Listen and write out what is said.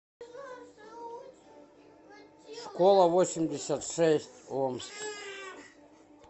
школа восемьдесят шесть омск